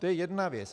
To je jedna věc.